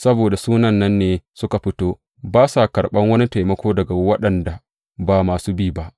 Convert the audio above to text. Saboda Sunan nan ne suka fito, ba sa karɓan wani taimako daga waɗanda ba masu bi ba.